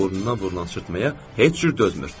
Amma burnuna vurulan çirtməyə heç cür dözmür.